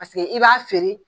Paseke i b'a feere.